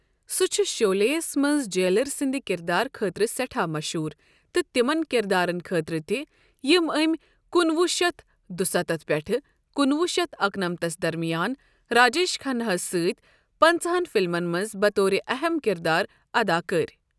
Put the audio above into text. سہ چُھ شولے یس منٛزجیلر سٕنٛدِ کِردار خٲطرٕ سٮ۪ٹھاہ مٔشہوٗر تہٕ تِمن کِردارن خٲطرٕ تہِ یِم أمۍ کُنہٕ وُہ شتھ دُستتھ پیٹھہٕ کُنہٕ وُہ شتھ اکہٕ نمتس درمِیان راجیش کھنا ہس سۭتۍ پنَژٕہن فِلمن منٛز بَطورِ اَہم کِردار اَدا كٔرۍ۔